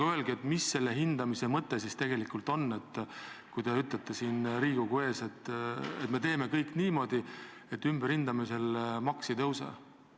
Aga mis selle hindamise mõte siis on, kui te ütlete siin Riigikogu ees, et me teeme kõik, et ümberhindamisel maks ei tõuseks?